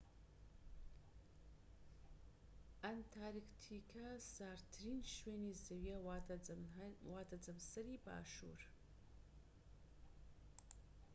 ئەنتارکتیکا ساردترین شوێنی زەویە واتە جەمسەری باشوور